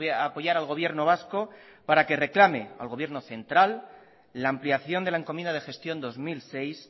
a apoyar al gobierno vasco para que reclame al gobierno central la ampliación de la encomienda de gestión dos mil seis